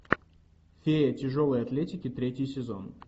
феи тяжелой атлетики третий сезон